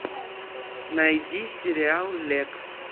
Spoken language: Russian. найди сериал лекс